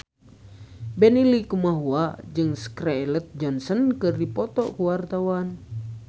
Benny Likumahua jeung Scarlett Johansson keur dipoto ku wartawan